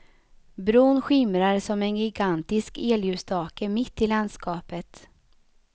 Bron skimrar som en gigantisk elljusstake mitt i landskapet.